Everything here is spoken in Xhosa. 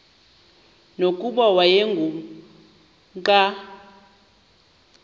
nokuba wayengu nqal